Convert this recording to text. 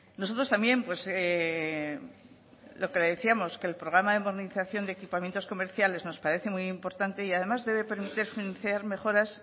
nosotros también pues lo que le decíamos que le programa de movilización de equipamientos comerciales nos parece muy importante y además debe mejoras